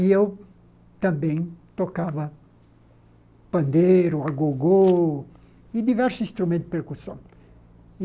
E eu também tocava pandeiro, agogô e diversos instrumentos de percussão.